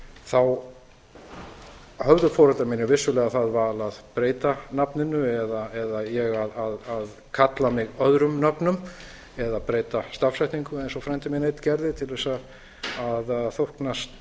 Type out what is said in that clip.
þá höfðu foreldrar mínir vissulega það val að breyta nafninu eða ég að kalla mig öðrum nöfnum eða breyta stafsetningu eins og frændi minn einn gerði til að þóknast